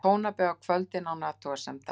Tónabæ á kvöldin án athugasemda.